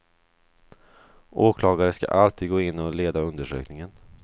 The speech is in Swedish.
Åklagare skall alltid gå in och leda undersökningen.